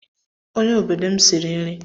onye odobo m siri nri